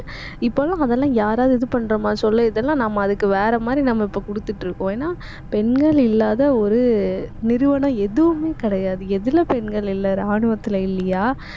இப்பல்லாம் அதெல்லாம், யாராவது இது பண்றோமா சொல்லு இதெல்லாம் நம்ம அதுக்கு வேற மாதிரி நம்ம இப்ப கொடுத்துட்டுருக்கோம் ஏனா பெண்கள் இல்லாத ஒரு நிறுவனம் எதுவுமே கிடையாது. எதுல பெண்கள் இல்லை ராணுவத்துல இல்லையா